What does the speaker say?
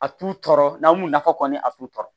A t'u tɔɔrɔ n'a m'u nafa kɔni a t'u tɔɔrɔ